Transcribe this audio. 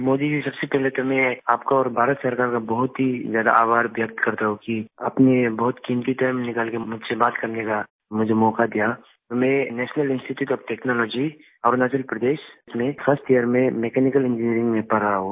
मोदी जी सबसे पहले तो मैं आपका और भारत सरकार का बहुत ही ज्यादा आभार व्यक्त करता हूँ कि आपने बहुत कीमती टाइम निकाल के मुझ से बात करने का मुझे मौका दिया मैं national institute of technology Arunachal Pradesh में फर्स्ट यियर में मेकेनिकल इंजिनियरिंग में पढ़ रहा हूँ